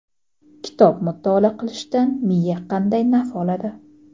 Kitob mutolaa qilishdan miya qanday naf oladi?.